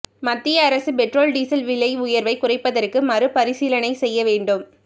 மத்திய அரசு petrol diesel விலை உயர்வை குறைப்பதற்கு மறுபரிசீலனை செய்ய வேண்டும்